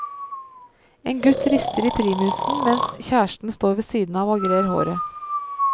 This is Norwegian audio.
En gutt rister i primusen mens kjæresten står ved siden av og grer håret.